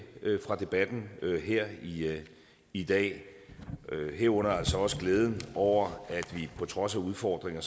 fra debatten her i dag herunder altså også glæden over at vi på trods af udfordringer